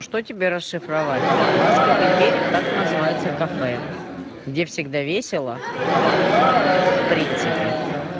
что тебе расшифровать ласковый берег так называется кафе где всегда весело в принципе